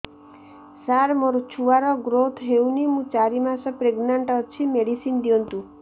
ସାର ମୋର ଛୁଆ ର ଗ୍ରୋଥ ହଉନି ମୁ ଚାରି ମାସ ପ୍ରେଗନାଂଟ ଅଛି ମେଡିସିନ ଦିଅନ୍ତୁ